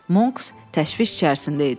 Monks təşviş içərisində idi.